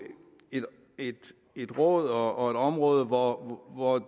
et råd og og et område hvor